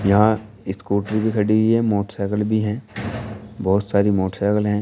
यहां स्कूटी भी खड़ी हुई है मोटरसाइकिल भी हैं बहुत सारी मोटरसाइकिल हैं।